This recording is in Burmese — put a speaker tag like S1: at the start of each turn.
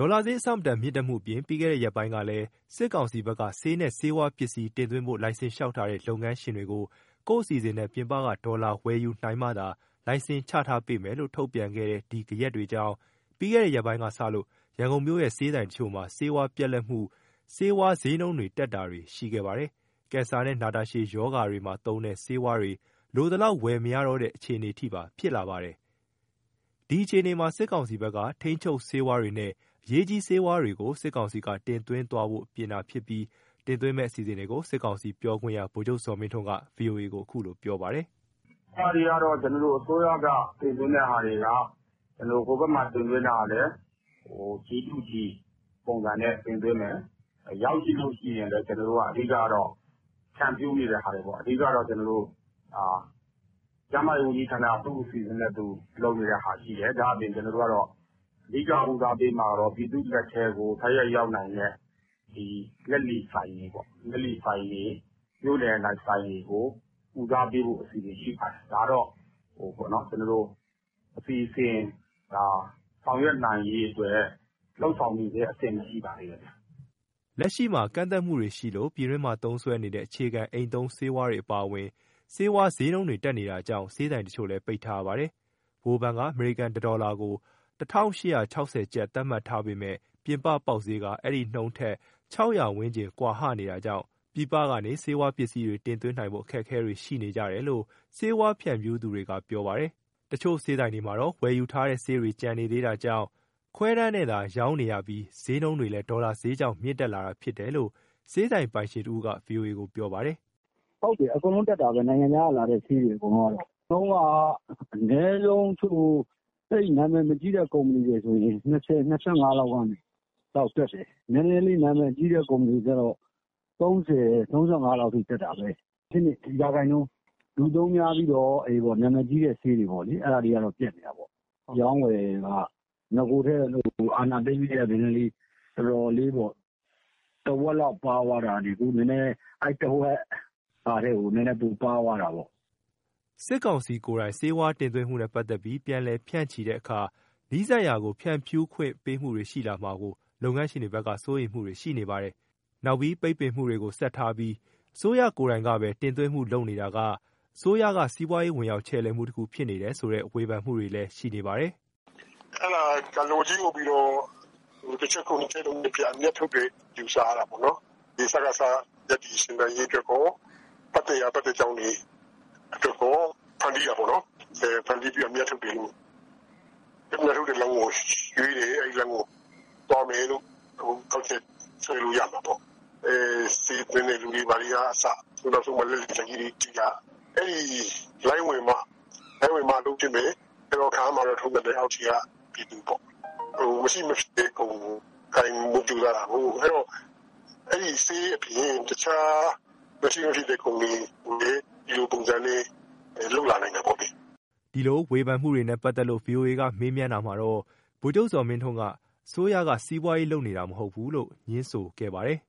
S1: ေါ်လာဈေး အဆမတန် မြင့်တက်မှုအပြင် ပြီးခဲ့တဲ့ ရက်ပိုင်းကလည်း စစ်ကောင်စီဘက်က ဆေးနဲ့ ဆေးဝါးပစ္စည်း တင်သွင်းဖို့ လိုင်စင်လျှောက်ထားတဲ့ လုပ်ငန်းရှင်တွေကို ကိုယ့်အစီအစဉ်နဲ့ ပြင်ပက ဒေါ်လာ ဝယ်ယူနိုင်မှသာ လိုင်စင်ချထားပေးမယ်လို့ ထုတ်ပြန်ခဲ့တဲ့ ဒီဂယက်တွေကြောင့် ပြီးခဲ့တဲ့ရက်ပိုင်းကစလို့ ရန်ကုန်မြို့ရဲ့ ဆေးဆိုင်တချို့မှာ ဆေးဝါးပြတ်လပ်မှု၊ ဆေးဝါးဈေးနှုန်းတွေ တက်တာတွေရှိခဲ့ပါတယ်။ ကင်ဆာနဲ့ နာတာရှည်ရောဂါတွေမှာ သုံးတဲ့ဆေးဝါးတွေ လိုသလောက် ဝယ်မရတော့တဲ့ အခြေအနေထိပါ ဖြစ်လာပါတယ်။ ဒီအခြေအနေမှာ စစ်ကောင်စီဘက်က ထိန်းချုပ်ဆေးဝါးတွေနဲ့ အရေးကြီး ဆေးဝါးတွေကို စစ်ကောင်စီက တင်သွင်းသွားဖို့ ပြင်တာဖြစ်ပြီး တင်သွင်းမယ့် အစီအစဉ်တွေကို စစ်ကောင်စီပြောခွင့်ရ ဗိုလ်ချုပ်ဇော်မင်းထွန်းက ဗွီအိုအေကိုပြောပါတယ်။ “
S2: အစိုးရက တင်သွင်းတဲ့ဟာတွေက ဟိုဘက်မှာကလည်း G to G ပုံစံနဲ့တင်သွင်းမယ် ရောက်ရင်လဲဖြန့်ဖြူးတာပေါ့။ ကျန်းမာရေးဝန်ကြီးဌာနက သူ့အစီစဉ်နဲ့သူ လုပ်တာရှိတယ်။ ဒါ့အပြင် အဓိက ဦးစားပေးမှာက ပြည်သူ့လက်ထဲတိုက်ရိုက်ရောက်နေတဲ့ လက်လီဆိုင်တွေ မြို့နယ်ထဲကဆိုင်တွေကိုတော့ ဦးစားပေးဖို့ အစီအစဉ်ရှိပါတယ်။ ဒါကတော့ အစီအစဉ်ဆောင်ရွက်နိုင်ရေးလုပ်နေတုန်းပါဘဲ။
S1: ” လက်ရှိမှာ ကန့်သတ်မှုတွေရှိလို့ ပြည်တွင်းမှာ သုံးစွဲနေတဲ့ အခြေခံအိမ်သုံး ဆေးဝါးတွေ အပါအဝင် ဆေးဝါးဈေးနှုန်းတွေ တက်နေတာကြောင့် ဆေးဆိုင်တချို့လည်း ပိတ်ထားရပါတယ်။ ဗဟိုဘဏ်က အမေရိကန်ဒေါ်လာ တစ်ဒေါ်လာကို ၁၈၆၀ ကျပ် သတ်မှတ်ထားပေမယ့် ပြင်ပပေါက်ဈေးက အဲဒီနှုန်းထက် ၆၀၀ ဝန်းကျင် ကွာဟနေတာကြောင့် ပြည်ပကနေ ဆေးဝါးပစ္စည်းတွေ တင်သွင်းနိုင်ဖို့ အခက်အခဲတွေ ရှိနေကြတယ်လို့ ဆေးဝါးဖြန့်ဖြူး သူတွေက ပြောပါတယ်။ တချို့ဆေးဆိုင်တွေမှာတော့ ဝယ်ယူထားတဲ့ ဆေးတွေ ကျန်နေသေးတာကြောင့် ခွဲတမ်းနဲ့ သာ ရောင်းနေရပြီး ဈေးနှုန်းကလည်း ဒေါ်လာဈေးကြောင့် မြင့်တက်လာတာဖြစ်တယ်လို့ ဆေးဆိုင်ပိုင်ရှင်တဦးက ဗွီအိုအေကိုပြောပါတယ်။
S3: “ အကုန်လုံးတက်တာ။ နိုင်ငံခြားကလာတဲ့ ဆေးတွေကလေ။ အနည်းဆုံးက သိပ်နာမည်မကြီးတာဆို ၂၀၊ ၂၅ ကနေ နာမည်ကြီးဆို ၃၀၊ ၃၅ ထိတက်တယ်။ ရာခိုင်နှုန်းပေါ့။ လူသုံးများတဲ့နာမည်ကြီးဆေး တွေကတော့ ပြတ်နေတယ်။ အရောင်းအဝယ်က အာဏာသိမ်းထဲက အရင်ကထက် တဝက်ဘဲ ရောင်းရတော့တယ်။ ခုကပိုဆိုးတယ်။ အဲတဝက်ထပ်ကျသွားတာပေါ့။
S1: ” စစ်ကောင်စီကိုယ်တိုင် ဆေးဝါးတင်သွင်းမှုနဲ့ ပတ်သတ်ပြီး ပြန်လည်ဖြန့်ချိတဲ့ အခါ နီးစပ်ရာကို ဖြန့်ဖြူးခွင့်ပေးမှုတွေရှိလာမှာကို လုပ်ငန်းရှင်တွေဘက်က စိုးရိမ်မှုတွေ ရှိနေကြပါတယ်။ နောက်ပြီး ပိတ်ပင်မှုတွေထားပြီး အစိုးရကိုယ်တိုင်ကဘဲ တင်သွင်းမှုလုပ်တာက အစိုးရက စီးပွားရေး ဝင်ရောက်ချယ်လှယ်မှုတခုဖြစ်နေတယ်ဆိုတဲ့ ဝေဖန်မှုတွေလည်း ရှိနေပါတယ်
S4: ။ “ လက်ဝါးကြီးအုပ်ပြီး တချက်ခုတ် ၂ချက်ပြတ်အမြတ်ထုတ်လုပ်တာပေါ့။ စကစနဲ့သူတို့ပတ်သတ်ရာပတ်သတ်ကြောင်း တွေအတွက် ကောဖန်တီးတာပေါ့။ အဲလိုဖန်တီးပြီး အမြတ်ထုတ်တဲ့ လမ်းရွေးတာလို့ ကောက်ချက်ချရမှာပေါ့။ ဆေးသွင်းသူတွေနဲ့ လက်လီဆိုင်တွေက လိုင်းဝင်မှ အလုပ်ဖြစ်မယ်။ အခုတော့ ခံရမှာတော့ အောက်ခြေကပြည်သူပေါ့။ မရှိမဖြစ်ကုန်ကို ကိုင်ဖို့ကြိုးစားတာပေါ့။ နောက်ပိုင်းလည်း မရှိမဖြစ်ကုန်တွေကို အဲလိုလုပ်လာနိုင်တာပေါ့။
S1: ” ဒီလိုဝေဖန်မှုတွေနဲ့ ပတ်သတ်လို့ ဗွီအိုအေက မေးတာမှာတော့ ဗိုလ်ချုပ်ဇော်မင်းထွန်းက ငြင်းဆန်ပြီး အစိုးရက စီးပွားရေးလုပ်တာ မဟုတ်ဘူးလို့ ငြင်းဆိုခဲ့ပါတယ်